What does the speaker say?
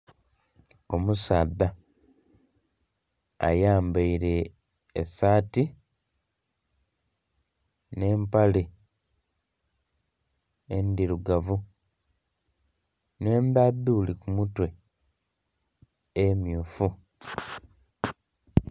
Omusaadha ayambaire esaati nhe empale endhirugavu nhe endhadhuli ku mutwe emmyufu.